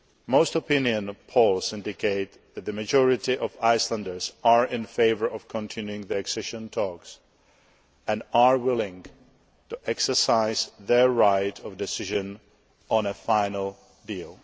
Most opinion polls indicate that the majority of Icelanders are in favour of continuing the accession talks and are willing to exercise their right of decision on a final deal.